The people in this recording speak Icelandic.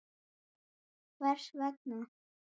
Hvers vegna?.